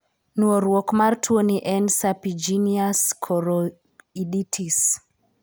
Nuoruok mar tuoni en serpiginous choroiditis.